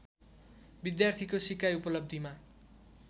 विद्यार्थीको सिकाइ उपलब्धिमा